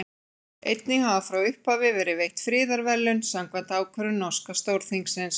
Einnig hafa frá upphafi verið veitt friðarverðlaun samkvæmt ákvörðun norska Stórþingsins.